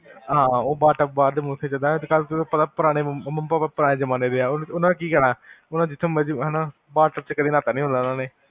ਹਾਂ, ਓਹ bathtub, ਅੱਜ ਕਲ ਚਲਦਾ, ਪਾਰ ਤੁਹਾਨੂੰ ਪਤਾ mummy papa ਪੁਰਾਣੇ ਜਮਾਨੇ ਦੇ ਹਾਂ, ਉਨ੍ਹਾਂ ਨੇ ਕਿ ਕਹਿਣਾ bath tub ਚ ਨਹਾਤਾ ਨਹੀਂ ਹੋਣਾ ਉਨ੍ਹਾਂ ਨੇ